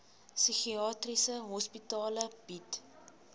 psigiatriese hospitale bied